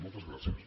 moltes gràcies